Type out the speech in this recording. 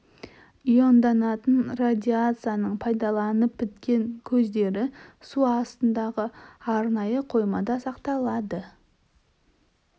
ионданатын радиацияның пайдаланылып біткен көздері су астындағы арнайы қоймада сақталады